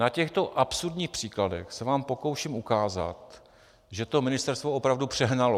Na těchto absurdních příkladech se vám pokouším ukázat, že to ministerstvo opravdu přehnalo.